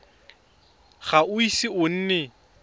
ga o ise o nne